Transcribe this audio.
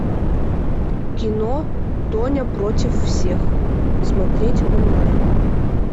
кино тоня против всех смотреть онлайн